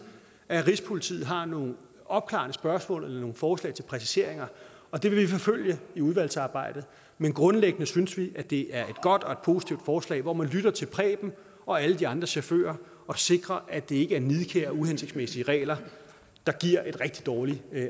at rigspolitiet har nogle opklarende spørgsmål eller nogle forslag til præciseringer og det vil vi forfølge i udvalgsarbejdet men grundlæggende synes vi det er godt og et positivt forslag hvor man lytter til preben og alle de andre chauffører og sikrer at det ikke er nidkære og uhensigtsmæssige regler der giver et rigtig dårligt